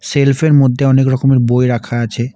শেলফের মধ্যে অনেক রকমের বই রাখা আছে।